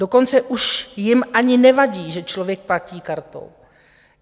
Dokonce už jim ani nevadí, že člověk platí kartou.